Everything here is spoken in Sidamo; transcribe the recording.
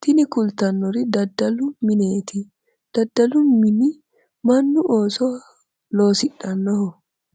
tini kultannori daddalu mineeti. daddalu mini mannu ooso loosidhannoho.